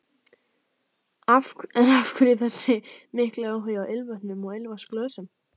En af hverju þessi mikli áhugi á ilmvötnum og ilmvatnsglösum?